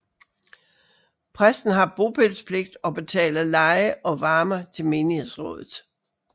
Præsten har bopælspligt og betaler leje og varme til menighedsrådet